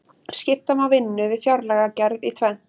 skipta má vinnu við fjárlagagerð í tvennt